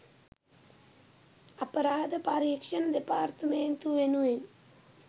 අපරාධ පරීක්ෂණ දෙපාර්තමේන්තුව වෙනුවෙන්